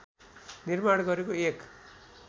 निर्माण गरेको एक